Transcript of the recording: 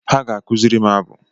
Ha ga-akụziri m abụ